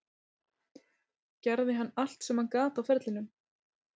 Gerði hann allt sem hann gat á ferlinum?